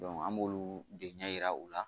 an b'olu de ɲɛ yira u la